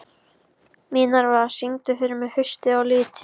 Minerva, syngdu fyrir mig „Haustið á liti“.